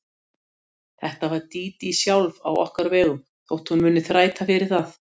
Þetta var Dídí sjálf á okkar vegum þótt hún muni þræta fyrir það.